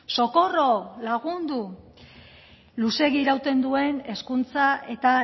socorro lagundu luzeegi irauten duen hezkuntza eta